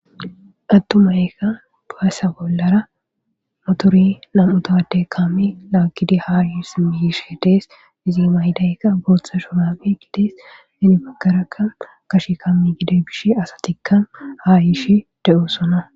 Atumayka basa bolara motore 2 towade kame lagid ha sim yishe Des, izi mayidayka Botha shurabe gides. Hen bagaraka Gashe kame gidida Gishe asat ha yishe de'osona.